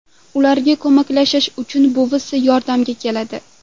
Ularga ko‘maklashish uchun buvisi yordamga keladi.